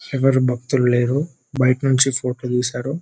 ఎవరు భక్తులు లేరు బయట నుండి ఫోటో తీశారు .